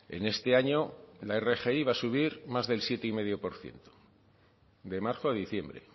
en este año la rgi va a subir más del siete coma cinco por ciento de marzo a diciembre